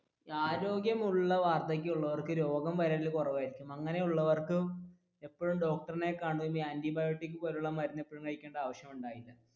ആരോഗ്യമുള്ള വാർധക്യമുള്ളവർക്ക് രോഗം വരൽ കുറവായിരിക്കും അങ്ങനെയുള്ളവർക്ക് ഇപ്പോഴും ഡോക്ടറിനെ antibiotic പോലുള്ള മരുന്നൊന്നും കഴിക്കണ്ട ആവശ്യമില്ല.